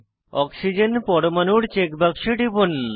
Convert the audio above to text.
oxygen পরমাণুর check বাক্সে টিপুন